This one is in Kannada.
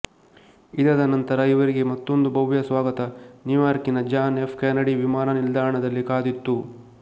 ಇದಾದ ನಂತರ ಇವರಿಗೆ ಮತ್ತೊಂದು ಭವ್ಯ ಸ್ವಾಗತ ನ್ಯೂಯಾರ್ಕಿನ ಜಾನ್ ಎಫ್ ಕೆನಡಿ ವಿಮಾನ ನಿಲ್ದಾಣದಲ್ಲಿ ಕಾದಿತ್ತು